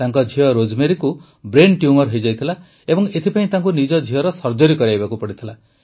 ତାଙ୍କ ଝିଅ ରୋଜମେରୀକୁ ବ୍ରେନ୍ ଟ୍ୟୁମର ହୋଇଯାଇଥିଲା ଏବଂ ଏଥିପାଇଁ ତାଙ୍କୁ ନିଜ ଝିଅର ସର୍ଜରୀ କରାଇବାକୁ ପଡ଼ିଥିଲା